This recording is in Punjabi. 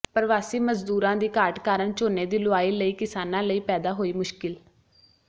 ਪ੍ਰਵਾਸੀ ਮਜ਼ਦੂਰਾਂ ਦੀ ਘਾਟ ਕਾਰਨ ਝੋਨੇ ਦੀ ਲੁਆਈ ਲਈ ਕਿਸਾਨਾਂ ਲਈ ਪੈਦਾ ਹੋਈ ਮੁਸ਼ਕਿਲ